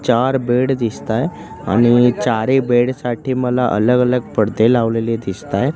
चार बेड दिसतायं आणि चारी बेड साठी मला अलग अलग पडदे लावलेले दिसतायतं.